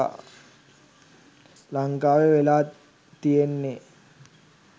ලංකාවේ වෙලා තියෙන්නේ